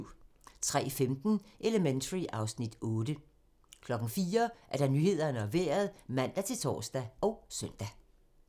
03:15: Elementary (Afs. 8) 04:00: Nyhederne og Vejret (man-tor og søn)